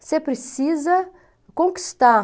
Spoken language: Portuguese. você precisa conquistar.